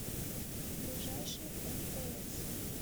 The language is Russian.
ближайший мтс